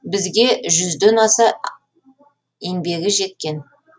бізге жүзден аса еңбегі жеткен